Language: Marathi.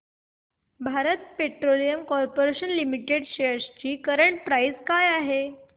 Bharat petroleum corporation limited shares ची करंट प्राइस काय आहे